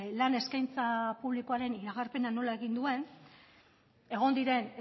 lan eskaintza publikoaren iragarpena nola egin duen egon diren